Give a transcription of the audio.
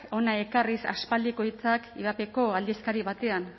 hona ekarriz aspaldiko hitzak ivapeko aldizkari batean